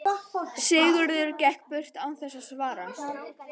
Sigurður gekk burt án þess að svara.